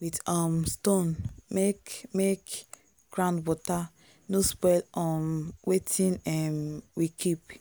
with um stone make make ground water no spoil um wetin um we keep.